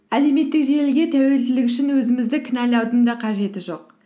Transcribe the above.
әлеуметтік желіге тәуелділік үшін өзімізді кінәлаудың да қажеті жоқ